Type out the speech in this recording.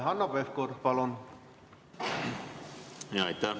Hanno Pevkur, palun!